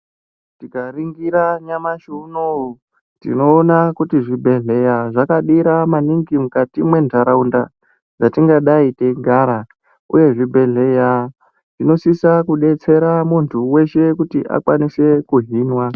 Tikaringira nyamashi unouyu tinoona kuti zvibhedhleya zvakadira maningi mukati mentaraunda dzatingadai teigara, uye zvibhedhleya zvinosisa kubetsera muntu veshe kuti akwanise kuhinwa.